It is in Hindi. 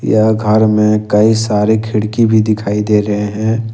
यह घर में कई सारे खिड़की भी दिखाई दे रहे हैं।